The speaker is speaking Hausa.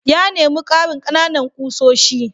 Ya nemi karin ƙananan ƙusoshi.